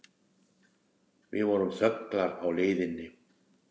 Við vorum þöglar á leiðinni.